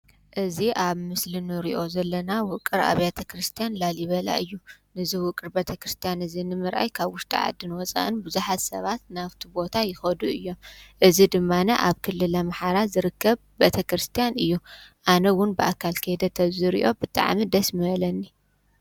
እዚ አብ ምስሊ እንሪኦ ዘለና ዉቅር ኣብያተ ክርስትያን ላሊበላ እዩ። እዙ ዉቅር ቤተ ክርስቲያን እዚ ንምርኣይ ካብ ዉሽጢ ዓዲን ወፃእን ብዙሓት ሰባት ናብቲ ቦታ ይከዱ እዮም። እዙይ ድማኒ ኣብ ክልል ኣምሓራ ዝርከብ ቤተ ክርስቲያን እዩ። አነ እዉን ብአካል ክይደ ተዝሪኦ ብጣዕሚ ደስ ምበለኒ።